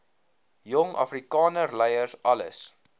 jong afrikanerleiers alles